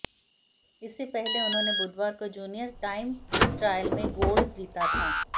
इसे पहले उन्होंने बुधवार को जूनियर टाइम ट्रायल में गोल्ड जीता था